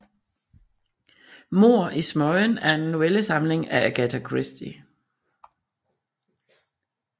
Mord i smøgen er en novellesamling af Agatha Christie